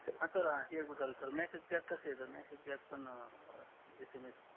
हा सर ते एक होत न सर मेसेज पॅक कस येत मेसेज पॅक पण